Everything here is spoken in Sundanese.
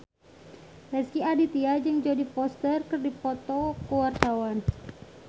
Rezky Aditya jeung Jodie Foster keur dipoto ku wartawan